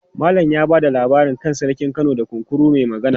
Malam ya ba da labari kan Sarkin Kano da Kunkuru mai Magana.